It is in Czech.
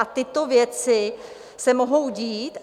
A tyto věci se mohou dít?